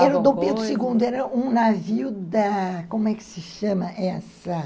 Era o Dom Pedro segundo, era um navio da... como é que se chama essa?